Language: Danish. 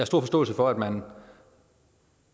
stor forståelse for at man